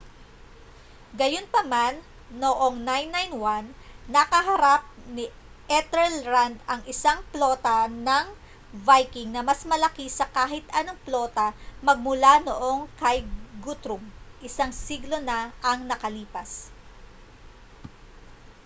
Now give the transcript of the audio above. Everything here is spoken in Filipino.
gayunpaman noong 991 nakaharap ni ethelred ang isang plota ng viking na mas malaki sa kahit anong plota magmula noong kay guthrum isang siglo na ang nakalipas